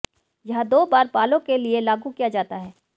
यह दो बार बालों के लिए लागू किया जाता है